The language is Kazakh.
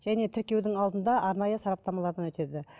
және тіркеудің алдында арнайы сараптамалардан өтеді